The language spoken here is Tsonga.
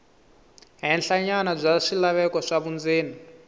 henhlanyana bya swilaveko swa vundzeni